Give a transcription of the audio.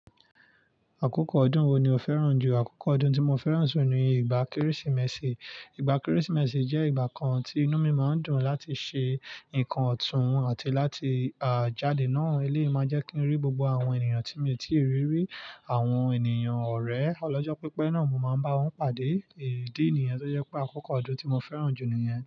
Àkókò ọdún wo ni o fẹ́ràn jù? Àkókò ọdún tí mo fẹ́ràn jù ni ìgbà Kérésìmesì. Ìgbà Kérésìmesì jẹ́ ìgbà kan tí inú mi máa ń dùn láti ṣe nǹkan ọ̀tún àti láti jáde náà. Eléyìí máa jẹ́ kí n rí gbogbo àwọn ènìyàn tí mi ò tíì rí rí, àwọn ènìyàn ọ̀rẹ́. Ọlọ́jọ́ pípẹ́ náà mo máa ń bá wọn pàdé. Ìdí nìyẹn tó jẹ́ pé àkókò ọdún tí mo fẹ́ràn jù ni rẹ̀